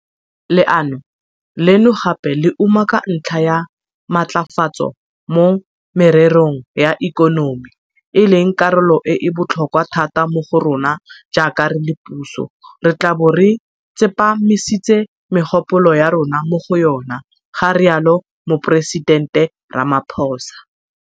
Leano leno gape le umaka ntlha ya matlafatso mo mererong ya ikonomi, e leng karolo e e botlhokwa thata mo go rona jaaka re le puso, re tla bo re tsepamisitse megopolo ya rona mo go yona, ga rialo Moporesitente Ramaphosa.